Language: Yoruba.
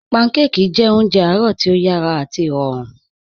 Pànḳàkí jẹ̀ ọ̀njẹ̀ àárọ̀ tí o yàrá àti ìròrùn